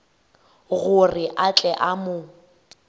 gore a tle a mo